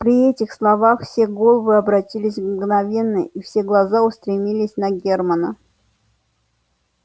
при этих словах все головы обратились мгновенно и все глаза устремились на германна